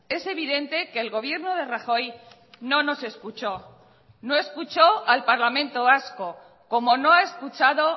es evidente que el gobierno de rajoy no nos escuchó no escuchó al parlamento vasco como no ha escuchado